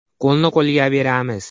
Qo‘lni qo‘lga beramiz!.